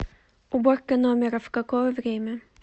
уборка номера в какое время